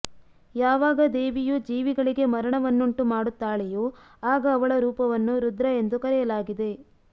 ಯಾವಾಗ ದೇವಿಯು ಜೀವಿಗಳಿಗೆ ಮರಣವನ್ನುಂಟು ಮಾಡುತ್ತಾಳೆಯೋ ಆಗ ಅವಳ ರೂಪವನ್ನು ರುದ್ರ ಎಂದು ಕರೆಯಲಾಗಿದೆ